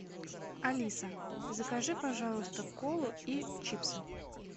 алиса закажи пожалуйста колу и чипсы